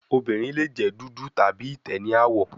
Awọn ọmọbirin le jẹ dudu tabi itẹ ni awọ